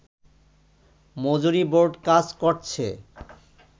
মজুরী board কাজ করছে